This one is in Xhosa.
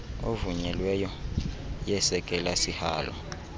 evunyelweyo yesekela sihalo